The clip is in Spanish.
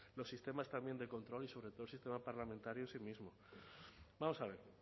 los sistemas también de control y sobre todo el sistema parlamentario en sí mismo vamos a ver